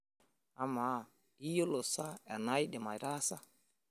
Amaa, iyiolo sa enaidim aitaasa.